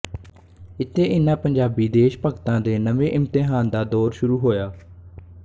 ਇਥੇ ਇਨ੍ਹਾਂ ਪੰਜਾਬੀ ਦੇਸ਼ ਭਗਤਾਂ ਦੇ ਨਵੇਂ ਇਮਤਿਹਾਨ ਦਾ ਦੌਰ ਸ਼ੁਰੂ ਹੋਇਆ